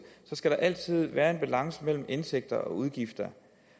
skal der altid være en balance mellem indtægter og udgifter